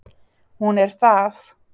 Hún er það